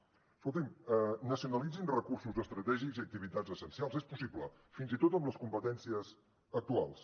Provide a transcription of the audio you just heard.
escolti’m nacionalitzin recursos estratègics i activitats essencials és possible fins i tot amb les competències actuals